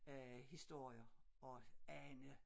Øh historier og Ane